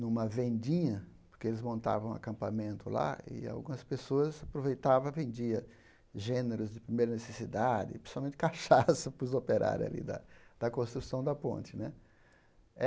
numa vendinha, porque eles montavam acampamento lá, e algumas pessoas aproveitavam e vendia gêneros de primeira necessidade, principalmente cachaça para os operários alí da da construção da ponte né.